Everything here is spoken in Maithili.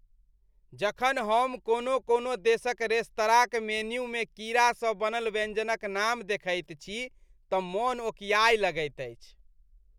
जखन हम कोनो कोनो देशक रेस्तराँक मेन्यूमे कीड़ासँ बनल व्यंजनक नाम देखैत छी तँ मन ओकिआए लगैत अछि।